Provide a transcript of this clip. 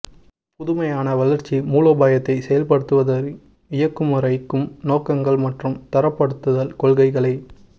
புதுமையான வளர்ச்சி மூலோபாயத்தை செயல்படுத்துவதை இயக்கமுறைமைக்கும் நோக்கங்கள் மற்றும் தரப்படுத்தல் கொள்கைகளை